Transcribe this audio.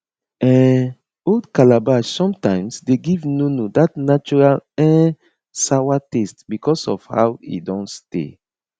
um old calabash sometimes de give nono that natural um sawa taste because of how e don stay